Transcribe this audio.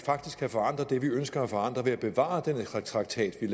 faktisk kan forandre det vi ønsker at forandre ved at bevare den traktat vi